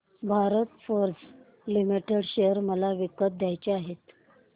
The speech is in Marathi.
भारत फोर्ज लिमिटेड शेअर मला विकत घ्यायचे आहेत